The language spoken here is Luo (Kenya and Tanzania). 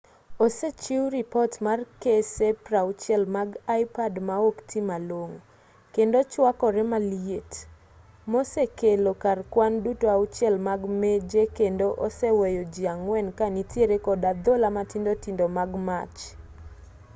osechiw ripot mar kese 60 mag ipod ma okti malong'o kendo chuakore maliet mosekelo kar kwan duto auchiel mag meje kendo oseweyo ji ang'wen ka nitiere kod adhola matindo tindo mag mach